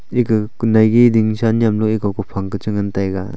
ega kunai gi ding cha nyam le ku phang ke che ngan taiga.